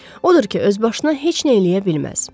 Odur ki, özbaşına heç nə eləyə bilməz.